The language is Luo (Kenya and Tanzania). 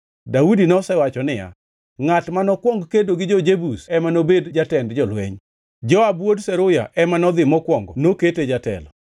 Daudi nosewacho niya, “Ngʼat ma nokwong kedo gi jo-Jebus ema nobed jatend jolweny.” Joab wuod Zeruya ema nodhi mokwongo nokete jatelo.